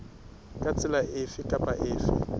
ka tsela efe kapa efe